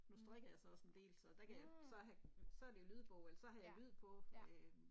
Mh, mh! Ja, ja